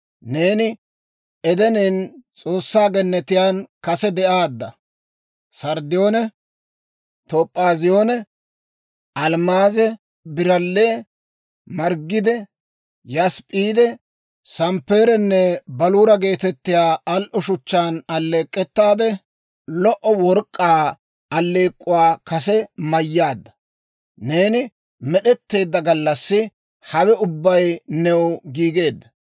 Neeni Edenen, S'oossaa gennetiyaan kase de'aadda; sarddiyoone, toop'aaziyoone, almmaaze, biralle, margide, yasp'p'iide, samppeerenne baluura geetettiyaa al"o shuchchaan alleek'k'ettaade, lo"o work'k'aa alleek'k'uwaa kase mayyaadda; neeni med'etteedda gallassi hawe ubbay new giigeedda.